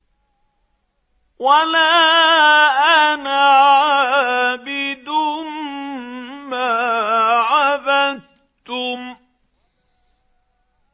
وَلَا أَنَا عَابِدٌ مَّا عَبَدتُّمْ